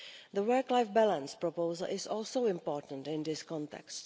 The work life balance proposal is also important in this context.